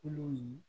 Kolo ye